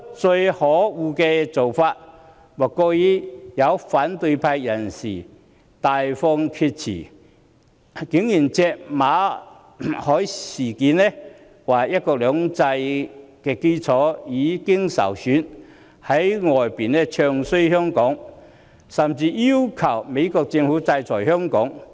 最可惡的做法莫過於有反對派人士大放厥辭，借馬凱事件指出，"一國兩制"的基礎已經受損，在外地"唱衰"香港，甚至要求美國政府制裁香港。